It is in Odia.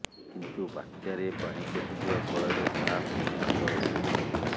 କିନ୍ତୁ ବାତ୍ୟାରେ ପାଣି ପଶିଯିବା ଫଳରେ ତାହା ପୁଣି ଅଚଳ ହୋଇଯାଇଛି